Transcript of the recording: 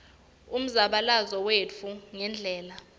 umzabalazo wetfu ngendlela